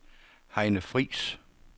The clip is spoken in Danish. Heine Friis